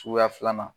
Suguya filanan